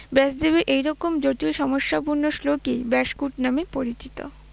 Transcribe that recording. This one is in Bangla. ব্যাসদেবের এইরকম জটিল সমস্যাপূর্ণ শ্লোকই ব্যাসকুট নামে পরিচিত।